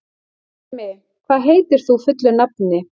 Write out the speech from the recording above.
Bjarmi, hvað heitir þú fullu nafni?